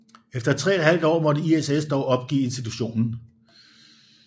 Efter tre et halvt år måtte ISS dog opgive institutionen